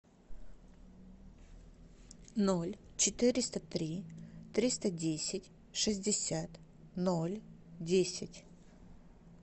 ноль четыреста три триста десять шестьдесят ноль десять